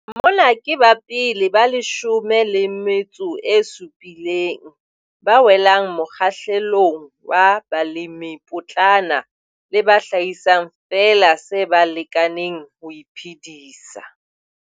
Mona ke ba pele ba leshome le metso e supileng ba welang mokgahlelong wa balemipotlana le ba hlahisang feela se ba lekaneng ho iphedisa.